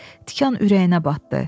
Tikan ürəyinə batdı.